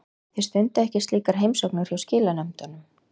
Þið stundið ekki slíkar heimsóknir hjá skilanefndunum?